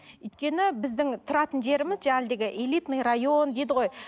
өйткені біздің тұратын жеріміз элитный район дейді ғой